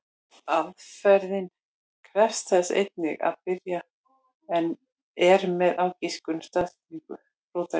Aðferðin krefst þess einnig að byrjað er með ágiskun á staðsetningu rótarinnar.